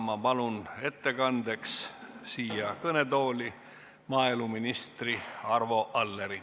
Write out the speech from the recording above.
Ma palun ettekandeks kõnetooli maaeluminister Arvo Alleri.